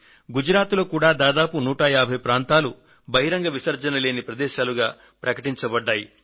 గుజరాత్ లో కూడా దాదాపు 150 ప్రాంతాలు బహిరంగ విసర్జనలేని ప్రదేశాలుగా ప్రకటించబడ్డాయి